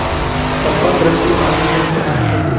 कृपा दृष्टि पाने हेतु आने लगे